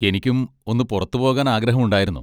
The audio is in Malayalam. എനിക്കും ഒന്ന് പുറത്തു പോകാൻ ആഗ്രഹമുണ്ടായിരുന്നു.